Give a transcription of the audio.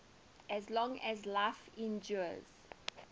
as long as life endures